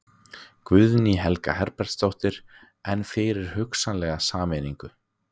Guðný Helga Herbertsdóttir: En fyrir hugsanlega sameiningu?